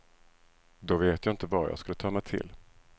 Då vet jag inte vad jag skulle ta mig till.